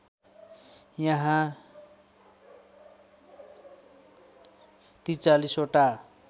यहाँ ४३ वटा